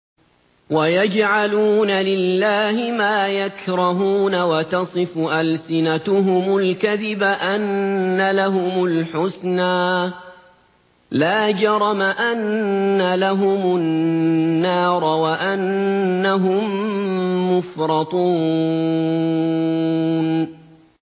وَيَجْعَلُونَ لِلَّهِ مَا يَكْرَهُونَ وَتَصِفُ أَلْسِنَتُهُمُ الْكَذِبَ أَنَّ لَهُمُ الْحُسْنَىٰ ۖ لَا جَرَمَ أَنَّ لَهُمُ النَّارَ وَأَنَّهُم مُّفْرَطُونَ